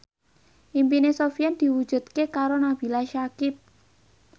impine Sofyan diwujudke karo Nabila Syakieb